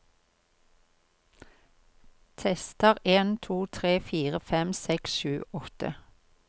Tester en to tre fire fem seks sju åtte